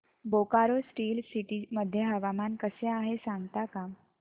Bokaro steel city मध्ये हवामान कसे आहे सांगता का